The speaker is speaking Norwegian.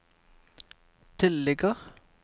tilligger